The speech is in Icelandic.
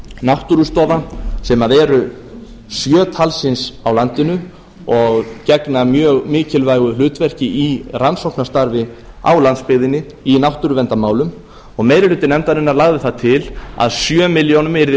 náttúrustofa sem eru sjö talsins á landinu og gegna mjög mikilvægu hlutverki í rannsóknastarfi á landsbyggðinni í náttúruverndarmálum og meiri hluti nefndarinnar lagði það til að sjö ár yrði